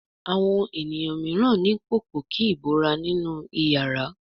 Àwọn ènìyàn míràn ní Pòpòkí ìbora nínú iyàrá.